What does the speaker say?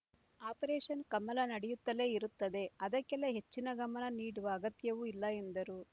operation Kamala ನಡೆಯುತ್ತಲೇ ಇರುತ್ತದೆ ಅದಕ್ಕೆಲ್ಲ ಹೆಚ್ಚಿನ ಗಮನ ನೀಡುವ ಅಗತ್ಯವೂ ಇಲ್ಲ ಎಂದರು